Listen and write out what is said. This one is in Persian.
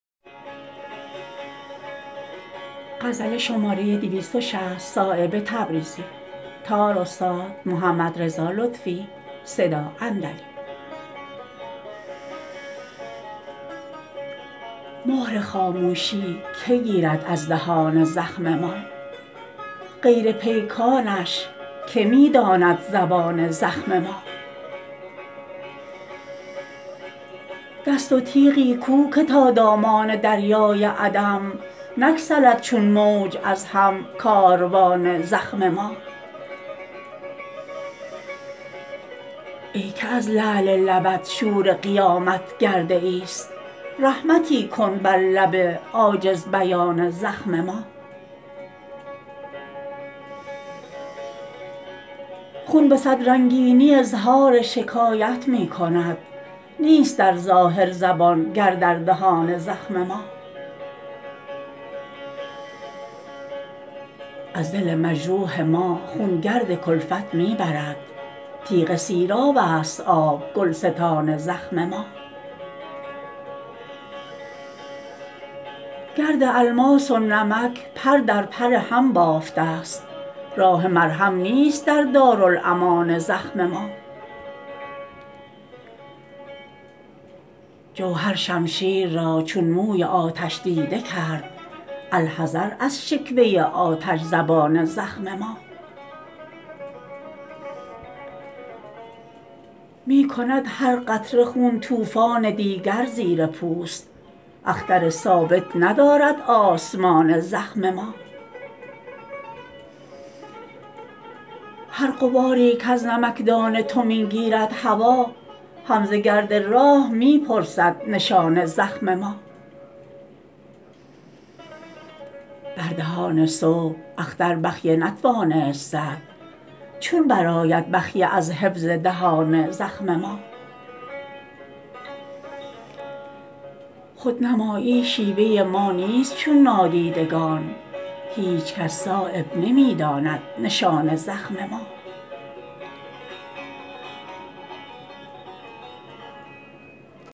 مهر خاموشی که گیرد از دهان زخم ما غیر پیکانش که می داند زبان زخم ما دست و تیغی کو که تا دامان دریای عدم نگسلد چون موج از هم کاروان زخم ما ای که از لعل لبت شور قیامت گرده ای است رحمتی کن بر لب عاجز بیان زخم ما خون به صد رنگینی اظهار شکایت می کند نیست در ظاهر زبان گر در دهان زخم ما از دل مجروح ما خون گرد کلفت می برد تیغ سیراب است آب گلستان زخم ما گرد الماس و نمک پر در پر هم بافته است راه مرهم نیست در دارالامان زخم ما جوهر شمشیر را چون موی آتش دیده کرد الحذر از شکوه آتش زبان زخم ما می کند هر قطره خون طوفان دیگر زیر پوست اختر ثابت ندارد آسمان زخم ما هر غباری کز نمکدان تو می گیرد هوا هم ز گرد راه می پرسد نشان زخم ما بر دهان صبح اختر بخیه نتوانست زد چون برآید بخیه از حفظ دهان زخم ما خودنمایی شیوه ما نیست چون نادیدگان هیچ کس صایب نمی داند نشان زخم ما